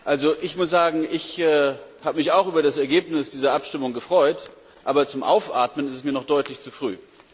Also ich muss sagen, ich habe mich auch über das Ergebnis dieser Abstimmung gefreut, aber zum Aufatmen ist es mir noch deutlich zu früh.